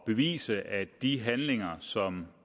bevise at de handlinger som